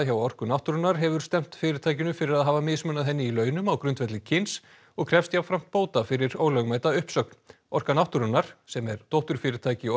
hjá Orku náttúrunnar hefur stefnt fyrirtækinu fyrir að hafa mismunað henni í launum á grundvelli kyns og krefst jafnframt bóta fyrir ólögmæta uppsögn orka náttúrunnar sem er dótturfyrirtæki